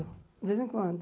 De vez em quando.